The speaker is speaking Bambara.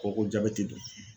Ko ko jabɛti don